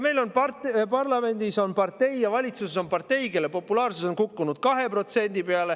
Meil on parlamendis ja valitsuses partei, kelle populaarsus on kukkunud 2% peale.